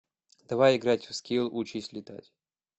давай играть в скил учись летать